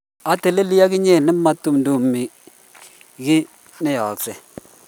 ateleli ak inyee ne ma itumtumdo kiy ne yaaksei